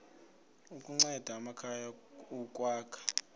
kunceda amakhaya ukwakha